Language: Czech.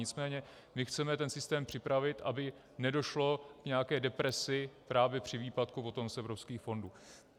Nicméně chceme ten systém připravit, aby nedošlo k nějaké depresi právě při výpadku potom z evropských fondů.